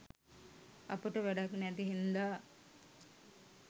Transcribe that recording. අපට වැඩක් නැති හින්දා